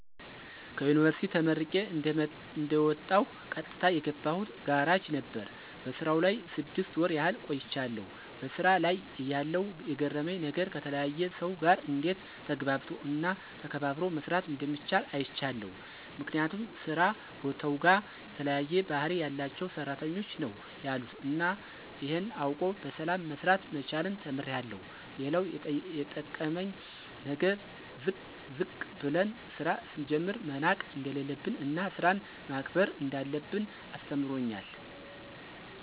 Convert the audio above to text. ከዩንቨርስቲ ተመርቄ እንደወጣሁ ቀጥታ የገባሁት ጋራጅ ነበር። በስራው ላይ ስድስት ወር ያህል ቆይቻለሁ። በሥራ ላይ እያለሁ የገረመኝ ነገር ከተለያየ ሰው ጋር እንዴት ተግባብቶ እና ተከባብሮ መስራት እንደሚቻል አይቻለሁ። ምክንያቱም ስራ ቦታውጋ የተለያየ ባህሪ ያላቸው ሰራተኞች ነው ያሉት እና ይሄን አውቆ በሰላም መስራት መቻልን ተምሬአለሁ። ሌላው የጠቀመኝ ነገር ዝቅ ብለን ስራ ስንጀምር መናቅ እንደሌለብን እና ስራን ማክበር እንዳለብን አስተምሮኛል።